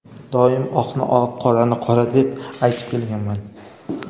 Doim oqni oq, qorani qora deb aytib kelganman.